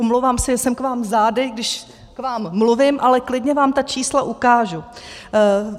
Omlouvám se, že jsem k vám zády, když k vám mluvím, ale klidně vám ta čísla ukážu.